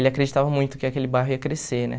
Ele acreditava muito que aquele bairro ia crescer, né?